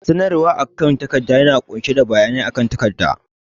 sanarwa da akan takarda yana ƙunshe da bayanai game da ƙungiya